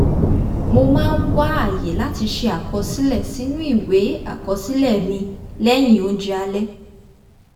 mo máa ń wá àyè láti ṣe àkọsílẹ̀ sínú ìwé àkosílẹ̀ mi lẹ́yìn oúnjẹ alẹ́